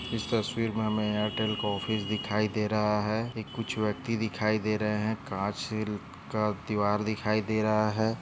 ईस तस्वीर मे हमे एयरटेल का ऑफिस दिखाई दे रहा है एक कुछ व्यक्ति दिखाई दे रहे है कासील का दीवार दिखाई दे रहा है।